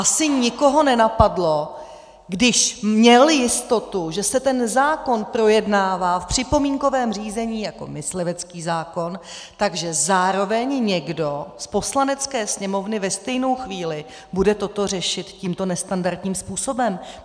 Asi nikoho nenapadlo, když měl jistotu, že se ten zákon projednává v připomínkovém řízení jako myslivecký zákon, že zároveň někdo z Poslanecké sněmovny ve stejnou chvíli bude toto řešit tímto nestandardním způsobem.